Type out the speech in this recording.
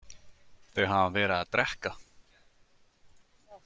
Þau hafa verið að drekka.